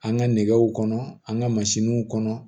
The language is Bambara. An ka nɛgɛw kɔnɔ an ka mansinw kɔnɔ